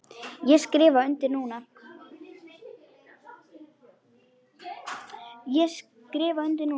Ég skrifa undir núna.